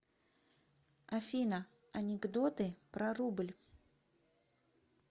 афина анекдоты про рубль